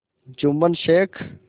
Jumman Sheikh